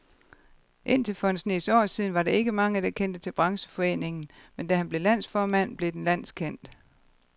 Indtil for en snes år siden var der ikke mange, der kendte til brancheforeningen, men da han blev landsformand, blev den landskendt.